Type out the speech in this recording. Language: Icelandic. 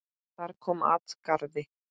Þar kom at garði